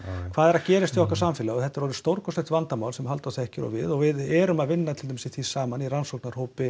hvað er að gerast í okkar samfélagi og þetta er alveg stórkostlegt vandamál sem Halldór þekkir og við og við erum að vinna í því saman í